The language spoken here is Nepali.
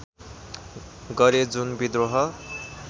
गरे जुन विद्रोह